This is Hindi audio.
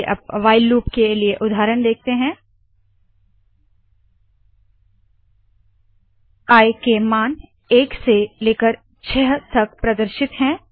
चलिये अब व्हाइल लूप के लिए उदाहरण देखते है आई 0 whileआई5 आई i1 डिस्प इंड आई के मान एक से लेकर छह तक प्रदर्शित है